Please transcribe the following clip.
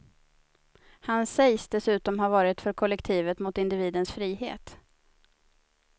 Han sägs dessutom ha varit för kollektivet mot individens frihet.